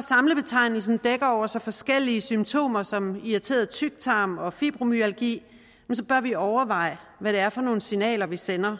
samlebetegnelsen dækker over så forskellige symptomer som irriteret tyktarm og fibromyalgi bør vi overveje hvad det er for nogle signaler vi sender